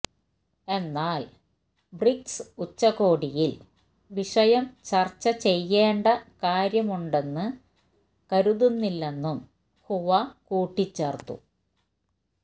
എന്നാല് ബ്രിക്സ് ഉച്ചകോടിയില് വിഷയം ചര്ച്ച ചെയ്യേണ്ട കാര്യമുണ്ടെന്ന് കരുതുന്നില്ലെന്നും ഹുവ കൂട്ടിച്ചേര്ത്തു